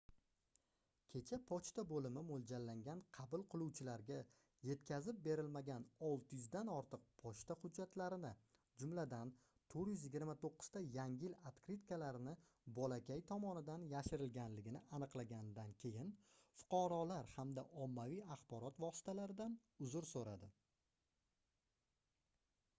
kecha pochta boʻlimi moʻljallangan qabul qiluvchilariga yetkazib berilmagan 600 dan ortiq pochta hujjatlarini jumladan 429 ta yangi yil otkritkalarini bolakay tomonidan yashirilganligini aniqlaganidan keyin fuqarolar hamda ommaviy axborot vositalaridan uzr soʻradi